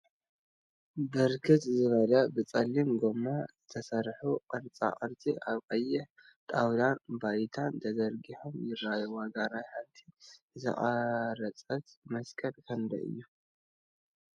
ብርክት ዝበሉ ብፀሊም ጎማ ዝተሰርሑ ቅርፃ ቅርፂ አብ ቀይሕ ጣውላን ባይታን ተዘርጊሖም ይርከቡ፡፡ ዋጋ ናይ ሓንቲ ዝተቀረፀት መስቀል ክንደይ እዩ?